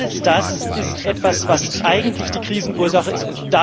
Alles das ist etwas, was eigentlich die Krisenursache ist.